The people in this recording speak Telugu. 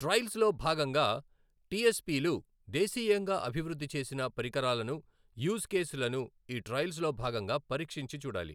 ట్రైల్స్‌లో భాగంగా టీఎస్‌పీలు దేశీయంగా అభివృద్ధి చేసిన పరికరాలను, యూజ్ కేస్‌లను ఈ ట్రైల్స్‌లో భాగంగా పరీక్షించి చూడాలి.